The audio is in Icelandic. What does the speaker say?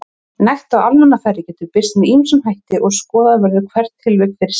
Nekt á almannafæri getur birst með ýmsum hætti og skoða verður hvert tilvik fyrir sig.